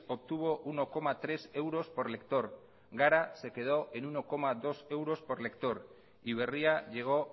obtuvo uno coma tres euros por lector gara se quedó en uno coma dos euros por lector y berria llegó